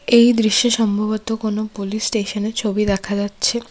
এই দৃশ্যে সম্ভবত কোন পুলিশ স্টেশনের ছবি দেখা যাচ্ছে।